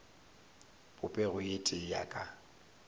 popego ye tee ya ka